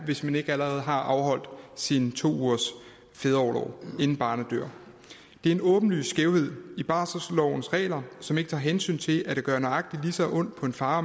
hvis man ikke allerede har afholdt sine to ugers fædreorlov inden barnet dør det er en åbenlys skævhed i barselslovens regler som ikke tager hensyn til at det gør nøjagtig lige så ondt på en far